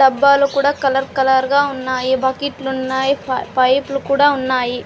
డబ్బాలు కుడా కలర్-కలర్ గా ఉన్నాయి బకిట్ లు ఉన్నాయి పైపు లు కుడా ఉన్నాయి.